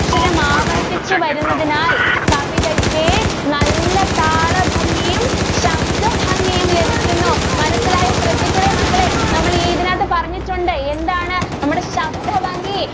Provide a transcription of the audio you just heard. അക്ഷരങ്ങൾ ആവർത്തിച്ച് വരുന്നതിനാൽ കവിതയ്ക്ക് നല്ല താള ഭംഗിയും ശബ്ദ ഭംഗിയും ലഭിക്കുന്നു മനസ്സിലായോ ശ്രദ്ധിക്കണേ മക്കളെ നമ്മൾ ഇതിനകത്തു പറഞ്ഞിട്ടുണ്ട് എന്താണ് നമ്മുടെ ശബ്ദ ഭംഗി.